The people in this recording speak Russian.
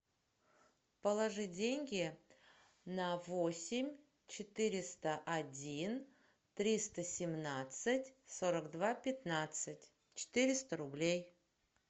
положи деньги на восемь четыреста один триста семнадцать сорок два пятнадцать четыреста рублей